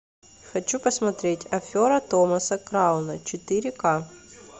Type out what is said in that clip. хочу посмотреть афера томаса крауна четыре к